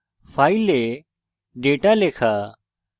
file data লেখা